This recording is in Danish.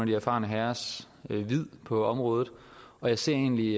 de erfarne herrers vid på området jeg ser egentlig